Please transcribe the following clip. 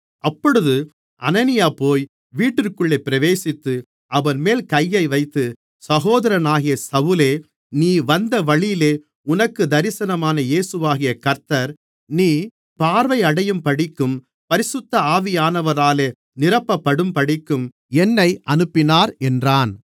அப்பொழுது அனனியா போய் வீட்டிற்குள்ளே பிரவேசித்து அவன்மேல் கையை வைத்து சகோதரனாகிய சவுலே நீ வந்த வழியிலே உனக்குத் தரிசனமான இயேசுவாகிய கர்த்தர் நீ பார்வையடையும்படிக்கும் பரிசுத்த ஆவியானவராலே நிரப்பப்படும்படிக்கும் என்னை அனுப்பினார் என்றான்